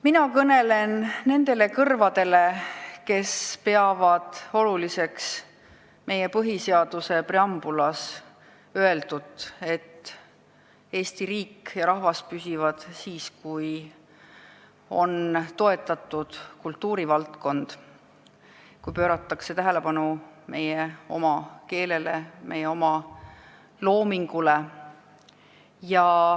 Mina kõnelen nendele kõrvadele, kes peavad oluliseks meie põhiseaduse preambulis öeldut, et Eesti riik ja rahvas püsivad siis, kui on toetatud kultuuri valdkond, kui pööratakse tähelepanu meie oma keelele, meie oma loomingule.